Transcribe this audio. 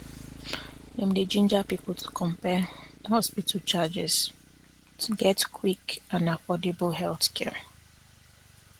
dem dey ginger people to compare hospital um charges to get quick and affordable healthcare